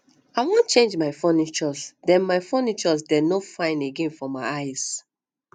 i wan change my furnitures dey my furnitures dey no fine again for my eyes